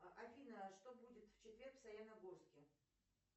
афина что будет в четверг в саяногорске